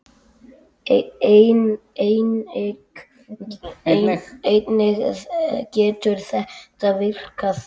Einnig getur þetta virkað þannig